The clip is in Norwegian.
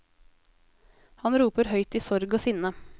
Han roper høyt i sorg og sinne.